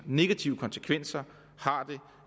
negative konsekvenser